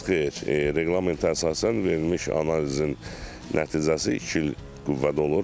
Xeyr, reqlamentə əsasən verilmiş analizin nəticəsi iki il qüvvədə olur.